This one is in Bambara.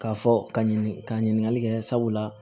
K'a fɔ ka ɲini ka ɲininkali kɛ sabula